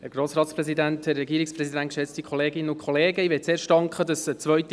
Ich möchte mich zuerst dafür bedanken, dass eine zweite Lesung durchgeführt wird.